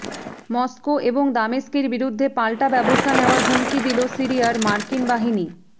Moscow এবং দামেস্কের বিরুদ্ধে পাল্টা ব্যবস্থা নেয়ার হুমকি দিল সিরিয়ার মার্কিন বাহিনী